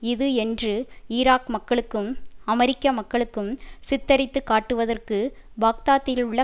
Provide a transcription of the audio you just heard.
இது என்று ஈராக் மக்களுக்கும் அமெரிக்க மக்களுக்கும் சித்தரித்து காட்டுவதற்கு பாக்தாத்திலுள்ள